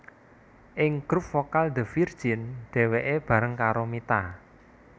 Ing grup vokal The Virgin dheweke bareng karo Mita